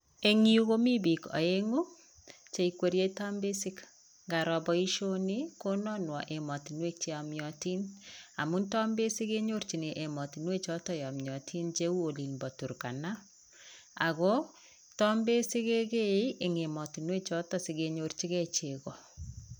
Eng yu komi biik aeng'u, cheikwerie tambesik. Nkaro boisioni, kononwo ematinwek cheyomyotin amun tambesik kenyorchin emotinwechoto yomyotin cheu olin po Turkana, ako tambesik kekee eng emotinwechoto sikenyorchike cheko.